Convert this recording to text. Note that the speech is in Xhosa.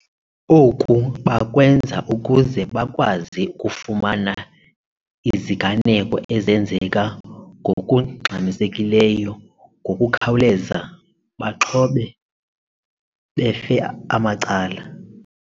Oku bakwenza ukuze bakwazi ukufumana iziganeko ezenzeka ngokungxmisekileyo ngokukhawuleza bexhobe befe amacala.